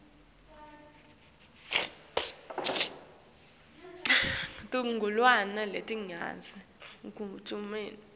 tigulane letidzinga kunekelwa